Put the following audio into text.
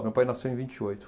Meu pai nasceu em vinte e oito